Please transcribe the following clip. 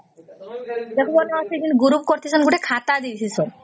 ସେଠୁ ଗଳାଇ ଗୋଟେ group କରିସନ ସେଥି ଗୋଟେ ଖାତା ଦେସ ସନ